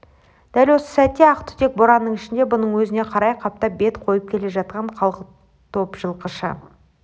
дәл осы сәтте ақ түтек боранның ішінде бұның өзіне қарай қаптап бет қойып келе жатқан қалың топ жылқыны